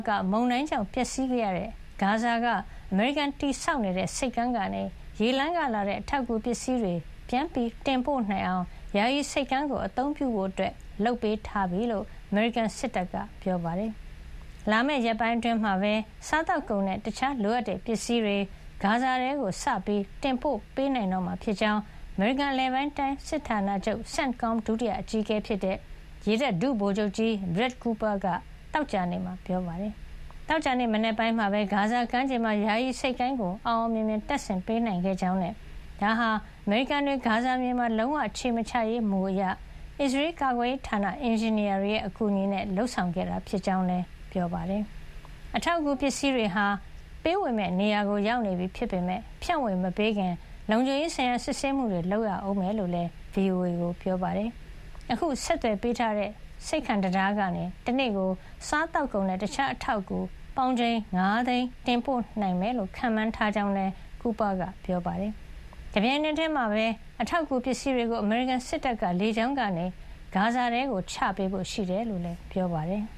က မုန်တိုင်းကြောင့် ပျက်စီးခဲ့ရတဲ့ ဂါဇာက အမေရိကန် တည်ဆောက်နေတဲ့ ဆိပ်ကမ်းကနေ ရေလမ်းကလာတဲ့ အထောက်အကူပစ္စည်းတွေ ပြန်တင်ပို့နိုင်အောင် ယာယီဆိပ်ကမ်းကို အသုံးပြုဖို့ လုပ်ပေးထားပြီလို့ အမေရိကန်စစ်တပ်က ပြောပါတယ်။ လာမယ့် ရက်ပိုင်းအတွင်းမှာပဲ စားသောက်ကုန်နဲ့ တခြားလိုအပ်တဲ့ပစ္စည်းတွေ ဂါဇာထဲကို စပြီး တင်ပို့ပေးနိုင်တော့မှာဖြစ်ကြောင်း အမေရိကန် အလယ်ပိုင်းစစ်ဌာနချုပ် CENTCOM ဒုတိယအကြီးအကဲဖြစ်တဲ့ ရေတပ် ဒုဗိုလ်ချုပ်ကြီး Brad Cooper က သောကြာနေ့မှာ ပြောပါတယ်။ သောကြာနေ့ မနက်ပိုင်းမှာပဲ ဂါဇာကမ်းခြေမှာ ယာယီဆိပ်ကမ်းကို အောင်အောင်မြင်မြင် တပ်ဆင်ပေးနိုင်ခဲ့ကြောင်းနဲ့ ဒါဟာ အမေရိကန်တွေ ဂါဇာမြေမှာ လုံးဝ ခြေမချရေး မူအရ အစ္စရေးကာကွယ်ရေးဌာန အင်ဂျင်နီယာတွေရဲ့ အကူအညီနဲ့ လုပ်ဆောင်ခဲ့တာ ဖြစ်ကြောင်းလည်း ပြောပါတယ်။ အထောက်အကူ ပစ္စည်းတွေဟာ ပေးဝေမယ့်နေရာကို ရောက်နေပြီ ဖြစ်ပေမယ့် ဖြန့်ဝေမပေးခင် လုံခြုံရေးဆိုင်ရာ စစ်ဆေးမှုတွေ လုပ်ရဦးမှာဖြစ်ကြောင်းလည်း VOA ကိုပြောပါတယ်။ အခု ဆက်သွယ်ပေးထားတဲ့ ဆိပ်ကမ်းကနေ တနေ့ကို စားသောက်ကုန်နဲ့ တခြားအထောက်အကူ ပေါင်ချိန် ၅ သိန်း တင်ပို့နိုင်ဖို့ ရည်မှန်းထားကြောင်းလည်း Cooper က ပြောပါတယ်။ တပြိုင်နက်ထည်းမှာပဲ အထောက်အကူ ပစ္စည်းတွေကို အမေရိကန်စစ်တပ်က လေကြောင်းကနေ ဂါဇာထဲ ချပေးဖို့ ရှိတယ်လို့လည်း ပြောပါတယ်။